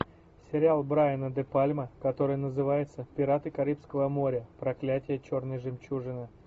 сериал брайана де пальма который называется пираты карибского моря проклятие черной жемчужины